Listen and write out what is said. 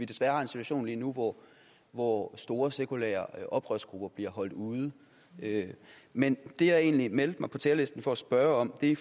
desværre en situation lige nu hvor hvor store sekulære oprørsgrupper bliver holdt ude men det jeg egentlig meldte mig på talerlisten for at spørge om er i